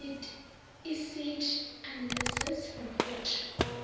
iseed analysis report